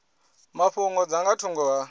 mafhungo dza nga thungo ha